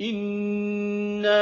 إِنَّا